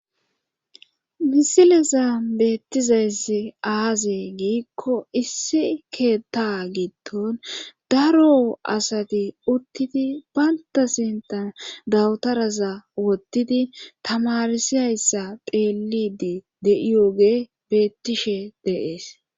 Misileza beettizayssi aaze giikko issi keetta gitton daro asati uttidi balta sintan dawutaraza wottidi tamarsihayssa xheelidi de7iyoge beettishe deees.